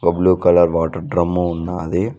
ఒక blue colour water drum ఉన్నాది.